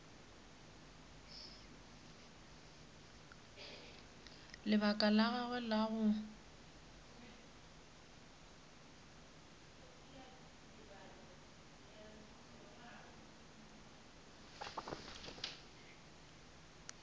lebaka la gagwe la go